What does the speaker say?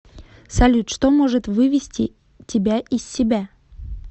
салют что может вывести тебя из себя